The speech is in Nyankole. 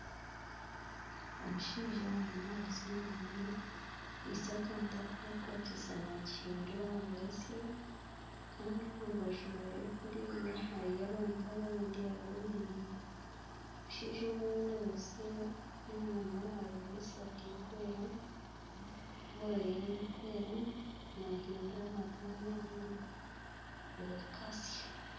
Omushaija arimu naayotsya enyama ye akwitse akantu aku bakukwatisa nagihindura ngu etsye kandi omu rubaju rwe kuriya hariyo abantu abandi abemereire, omushaija ogu ariyo naayotsya enyama ajwaire esaati erikwera, ovoro ye erikwera naahindura naguma nahindura ngu ekatsya.